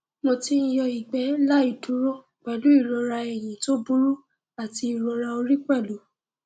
mo ti ń yọ ìgbẹ láì dúró pẹlú ìrora ẹyìn tó burú àti ìrora orí pẹlú